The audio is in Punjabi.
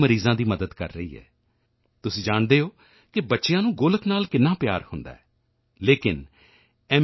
ਮਰੀਜ਼ਾਂ ਦੀ ਮਦਦ ਕਰ ਰਹੀ ਹੈ ਤੁਸੀਂ ਜਾਣਦੇ ਹੋ ਕਿ ਬੱਚਿਆਂ ਨੂੰ ਗੋਲਕ ਨਾਲ ਕਿੰਨਾ ਪਿਆਰ ਹੁੰਦਾ ਹੈ ਲੇਕਿਨ ਐੱਮ